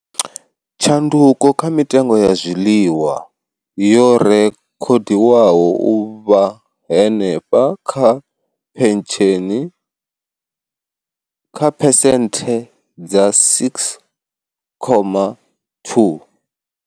Tshanduko kha mitengo ya zwiḽiwa yo rekhodiwaho u vha henefha kha phensheni kha phesenthe dza 6.2.